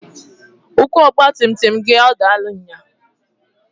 Ukwu ọgbatumtum gị ọ dalụ nnyaa?